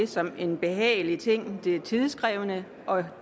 som en behagelig ting det er tidskrævende og